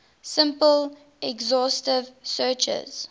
simple exhaustive searches